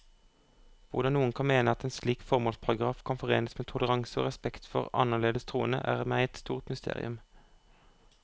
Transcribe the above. Hvordan noen kan mene at en slik formålsparagraf kan forenes med toleranse og respekt for annerledes troende, er meg et stort mysterium.